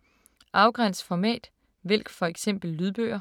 Afgræns format: vælg for eksempel lydbøger